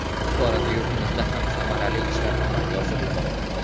Bu borada yurtimizda ham samarali ishlar amalga oshirilmoqda.